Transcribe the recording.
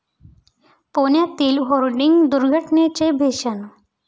पुण्यातील होर्डिंग दुर्घटनेचे भीषण